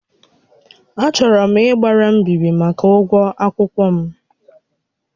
Achọrọ m ịgbara mbíbí màkà ụgwọ akwụkwọ m